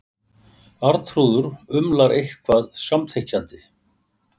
Arnþrúður umlar eitthvað samþykkjandi.